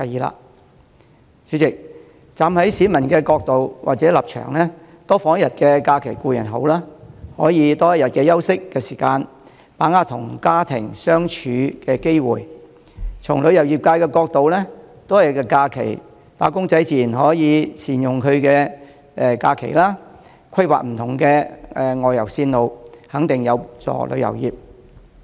代理主席，站在市民的角度或立場，多放一天假期固然好，可以有多一天的休息時間，把握與家人相處的機會；從旅遊業的角度，多一天假期，"打工仔"自然可以善用假期，規劃不同的外遊路線，肯定有助旅遊業。